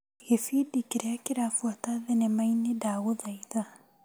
Gĩbindi kĩrĩa kĩrabuata thinema-inĩ ndagũthaitha .